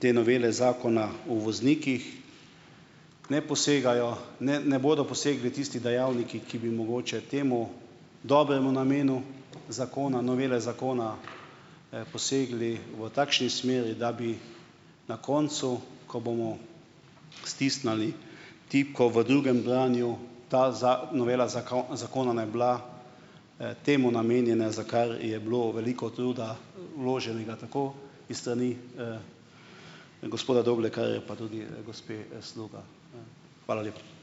te novele zakona v voznikih ne posegajo ne ne bodo posegli tisti dejavniki, ki bi mogoče temu dobremu namenu zakona, novele zakona, posegli v takšni smeri, da bi na koncu, ko bomo stisnili tipko v drugem branju, ta novela zakona ne bila, temu namenjena, za kar je bilo veliko truda vloženega tako iz strani, gospoda Doblekarja pa tudi, gospe, Sluga. Hvala lepa.